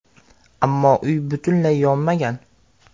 Ammo uy butunlay yonmagan.